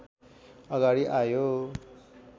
अगाडि आयो